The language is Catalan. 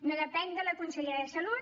no depèn de la consellera de salut